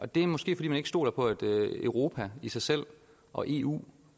det er måske fordi man ikke stoler på at europa i sig selv og eu